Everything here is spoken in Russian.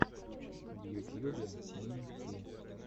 в ютьюбе мин ти